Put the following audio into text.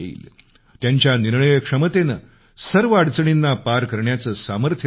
त्यांच्या निर्णयक्षमतेनं सर्व अडचणींना पार करण्याचं सामर्थ्य त्यांनी दिलं